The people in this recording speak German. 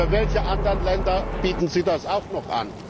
Und für welche anderen Länder bieten Sie das auch noch an?